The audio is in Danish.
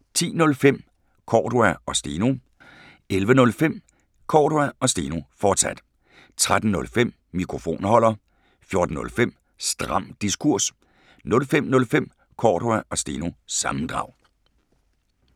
10:05: Cordua & Steno 11:05: Cordua & Steno, fortsat 13:05: Mikrofonholder 14:05: Stram Diskurs 05:05: Cordua & Steno – sammendrag